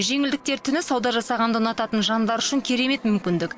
жеңілдіктер түні сауда жасағанды ұнататын жандар үшін керемет мүмкіндік